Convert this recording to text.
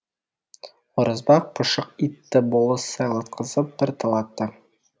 оразбақ пұшық итті болыс сайлатқызып бір талатты